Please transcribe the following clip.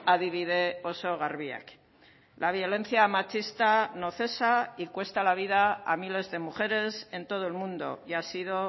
adibide oso garbiak la violencia machista no cesa y cuesta la vida a miles de mujeres en todo el mundo y ha sido